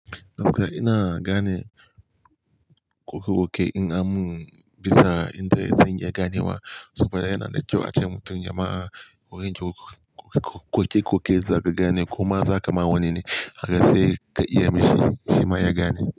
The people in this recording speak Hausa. Ok ina gane koke koke in an mun bisa inda zan iya gane wa saboda yana da kyau a ce mutum ya ma wurin koke koke za ka gane ko ma za ka ma wane kaga sai ka iya mai shi shima ya gane.